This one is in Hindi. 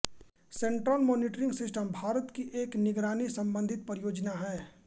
सेंट्रल मॉनिटरिंग सिस्टम भारत की एक निगरानी संबंधी परियोजना है